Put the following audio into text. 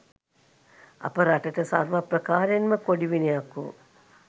අප රටට සර්වප්‍රකාරයෙන්ම කොඩිවිනයක් වූ